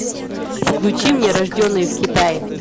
включи мне рожденные в китае